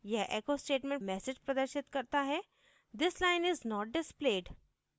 यह echo statement message प्रदर्शित करता है this line is not displayed